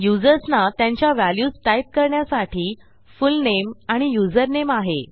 युजर्सना त्यांच्या values type करण्यासाठी full name आणि युझरनेम आहे